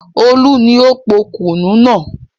Olú ni ó po kùnú náà.